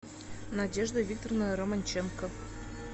надежда викторовна романченко